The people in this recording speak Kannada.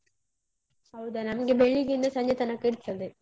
ಹೌದಾ ನಮ್ಗೆ ಬೆಳಿಗ್ಗೆಯಿಂದ ಸಂಜೆ ತನಕ ಇರ್ತದೆ.